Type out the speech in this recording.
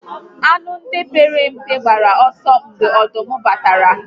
Anụ ndị a pere mpe gbara ọsọ mgbe ọdụm batara